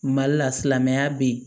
Mali la silamɛya be ye